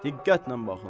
Diqqətlə baxın.